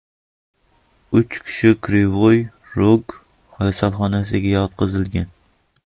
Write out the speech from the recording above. Uch kishi Krivoy Rog kasalxonalariga yotqizilgan.